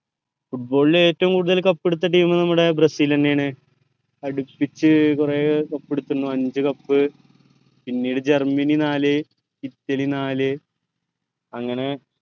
football ൽ ഏറ്റവു കൂടുതൽ cup എടുത്ത team നമ്മടെ ബ്രസീൽ എന്നെയാണ് അടുപ്പിച്ചു കൊറേ cup എടുത്തിനു അഞ്ചു cup പിന്നെ ജർമ്മനി നാല് ഇറ്റലി നാല് അങ്ങനെ